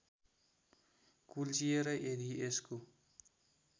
कुल्चिएर यदि यसको